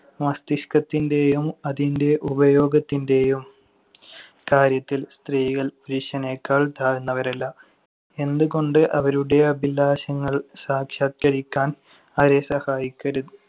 മസ്തിഷ്‌കത്തിന്‍റെയും അതിന്‍റെ ഉപയോഗത്തിന്‍റെയും കാര്യത്തിൽ സ്ത്രീകൾ പുരുഷനെക്കാൾ താഴ്ന്നവരല്ല. എന്തുകൊണ്ട് അവരുടെ അഭിലാഷങ്ങൾ സാക്ഷാത്കരിക്കാൻ അവരെ സഹായിക്കരു~